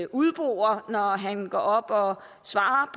udbore når han går op og svarer